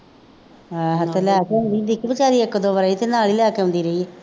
ਹਾਂ ਅਤੇ ਲੈ ਕੇ ਆਉਂਦੀ ਸੀ ਦਿੱਕਤ ਕਾਹਦੀ ਹੈ, ਇੱਕ ਦੋ ਵਾਰੀ ਅਤੇ ਨਾਲ ਹੀ ਲੈ ਕੇ ਆਉਂਦੀ ਰਹੀ ਹੈ